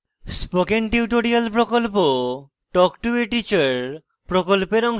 spoken tutorial প্রকল্প talk to a teacher প্রকল্পের অংশবিশেষ